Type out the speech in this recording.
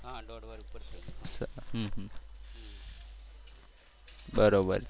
બરોબર